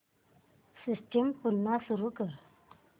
system पुन्हा सुरू कर